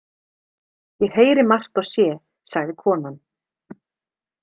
Ég heyri margt og sé, sagði konan.